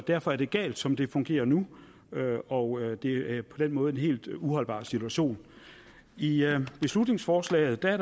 derfor er det galt som det fungerer nu og det er på den måde en helt uholdbar situation i beslutningsforslaget er